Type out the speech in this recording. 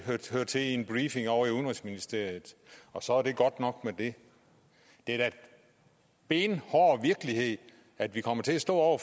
hører til i en briefing ovre i udenrigsministeriet og så er det godt nok med det det er da benhård virkelighed at vi kommer til at stå